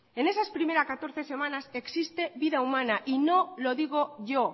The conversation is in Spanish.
en esas primeras catorce semanas existe vida humana y no lo digo yo